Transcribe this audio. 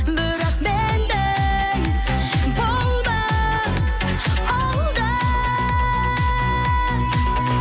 бірақ мендей болмас ол да